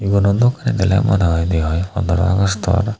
iguno dok dele mone oi di oi ponoro augustor.